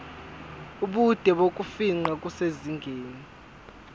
ubude bokufingqa kusezingeni